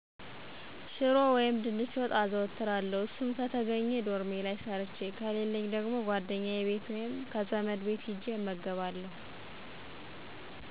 ሽሮ ወይም ድንች ወጥ አዘወትራለሁ እሱም ከተገኜ ዶርሜ ላይ ሠርቸ ከሌለኝ ጓደኛየ ቤት ወይም ከዘመድ ቤት ሂጀ እመገባለሁ።